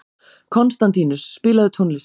Konstantínus, spilaðu tónlist.